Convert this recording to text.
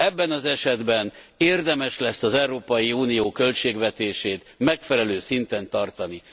Ebben az esetben érdemes lesz az Európai Unió költségvetését megfelelő szinten tartani.